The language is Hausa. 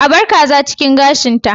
A bar kaza cikin gashinta